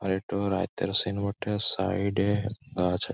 আর এটা রাইতের সিন বটে সাইড -এ গাছ আছ --